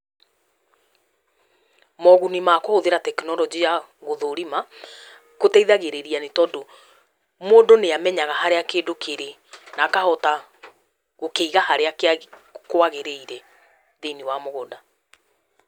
Moguni ma kũhũthĩra tekinoronjĩ ya gũthũrima , kũteithagĩrĩiria nĩ tũndũ, mũndũ nĩ amenyaga harĩa kĩndũ kĩrĩ, na akahota gũkĩiga harĩa kwagĩrĩire thĩiniĩ wa mũgũnda.